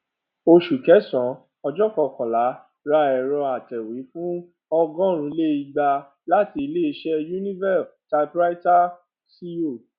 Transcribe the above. oṣù kẹsànán ọjọ kọkànlá ra èrò atẹwé fún ọgọrun le ẹgbàá láti iléiṣẹ univeal typewriter co